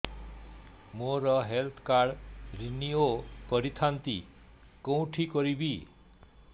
ମୋର health card renew କରିଥାନ୍ତି କୋଉଠି କରିବି